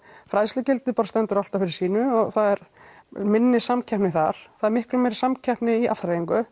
fræðslugildi standa bara alltaf fyrir sínu og það er minni samkeppni þar það er miklu meiri samkeppni í